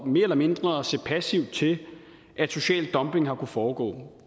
mere eller mindre at se passivt til at social dumping har kunnet foregå